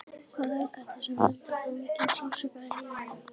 Hvað er þetta sem veldur svo miklum sársauka í lífinu?